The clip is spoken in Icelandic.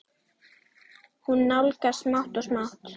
Hún nálgast smátt og smátt.